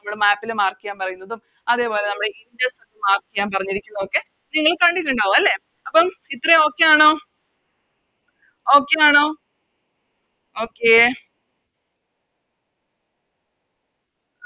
നമ്മളെ Map ല് Mark ചെയ്യാൻ പറയുന്നതും അതേപോലെ നമ്മളെ Mark ചെയ്യാൻ പറഞ്ഞിരിക്കുന്നതും ഒക്കെ നിങ്ങൾ കണ്ടിട്ടിണ്ടാവും അല്ലെ അപ്പോം ഇത്രേം Okay ആണോ Okay ആണോ Okay